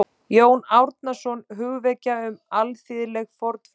Jón Árnason: Hugvekja um alþýðleg fornfræði